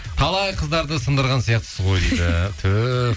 талай қыздарды сындырған сияқтысыз ғой дейді түһ